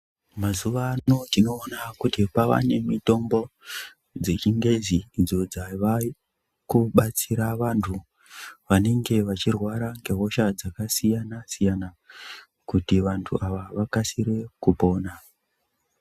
Mazuva ano tinoona kuti pavanemitombo dzechingezi, idzo dzavakubatsira vantu vanenge vachirwara ngehosha dzakasiyana-siyana, kuti vantu ava vakasire kupona.